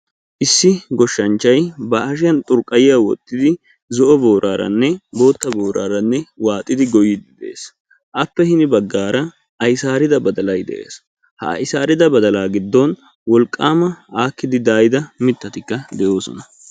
Issi goshshanchay ba hashiyan xurqqayiya wottidi zo"o booraranne bootta booraaranne waaxidi goyyiiddi de'ees. Appe hini baggaara aysaarida badalay de'ees. Ha aysaarida badalaa giddon wolqaama aakkidi daayida mittatikka de'oosona.